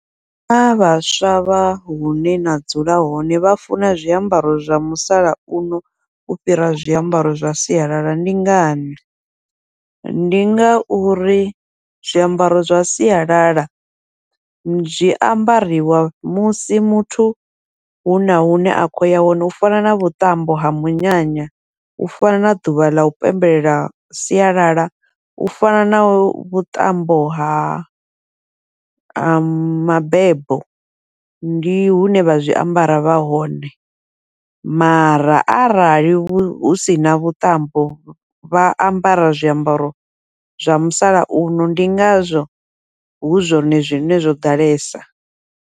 Naa vhaswa vha hune na dzula hone vha funa zwiambaro zwa musalauno u fhira zwiambaro zwa sialala ndi ngani, ndi ngauri zwiambaro zwa sialala zwi ambariwa musi muthu huna hune a khou ya hone, u fana na vhuṱambo ha munyanya, u fana na ḓuvha ḽau pembelela siyalala, u fana na vhuṱambo ha ha mabebo. Ndi hune vha zwiambara vha hone, mara arali hu sina vhuṱambo vha ambara zwiambaro zwa musalauno, ndi ngazwo hu zwone zwine zwo ḓalesa.